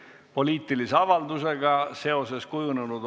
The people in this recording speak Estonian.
Eriolukorra väljakuulutamisel peavad olema täidetud seaduses ettekirjutatud tingimused.